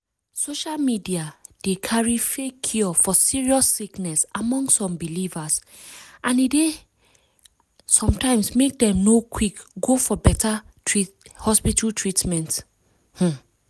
social media dey carry fake cure for serious sickness among some believers and e dey sometimes make dem no quick go for beta hospital treatment. um